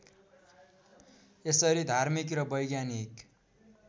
यसरी धार्मिक र वैज्ञानिक